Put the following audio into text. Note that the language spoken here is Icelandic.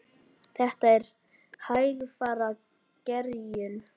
Þetta er hægfara gerjun.